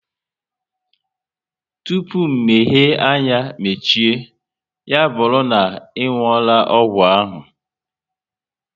Tụpụ mmehie anya mechie, ya bụrụ na ị nwuola ọgwụ ahụ